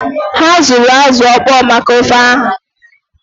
Ha azụrụ azụ ọkpọọ maka ofe ah?